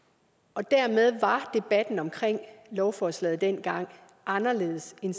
og dermed var debatten om lovforslaget dengang anderledes end